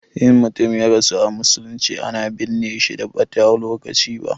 In mutum ya rasu a musulunce, ana binne shi ba da ɓata lokaci ba.